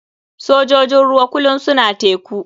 Sojojin ruwa kulum suna teku.